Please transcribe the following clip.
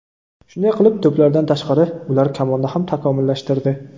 Shunday qilib, to‘plardan tashqari, ular kamonni ham takomillashtirdi.